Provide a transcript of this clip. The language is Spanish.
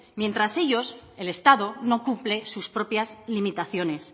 mientras ellos el estado no cumple sus propias limitaciones